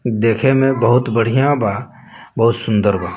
देखे में बहुत बढ़िया बा बहुत सुन्दर बा।